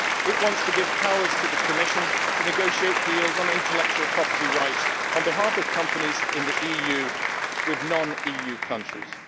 It wants to give powers to the Commission to negotiate deals on intellectual property rights, on behalf of companies in the EU, with non EU countries.